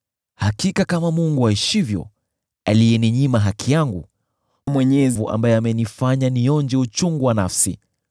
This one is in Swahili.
“Hakika kama Mungu aishivyo, aliyeninyima haki yangu, Mwenyezi ambaye amenifanya nionje uchungu wa nafsi,